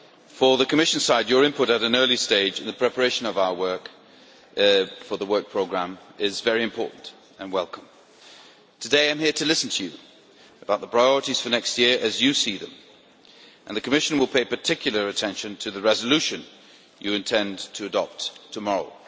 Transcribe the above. From the Commission side, your input at an early stage in the preparation for the Commission Work Programme is very important and welcome. Today I am here to listen to you about the priorities for next year, as you see them, and the Commission will pay particular attention to the resolution you intend to adopt tomorrow.